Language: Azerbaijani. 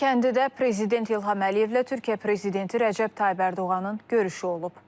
Xankəndidə prezident İlham Əliyevlə Türkiyə prezidenti Rəcəb Tayyib Ərdoğanın görüşü olub.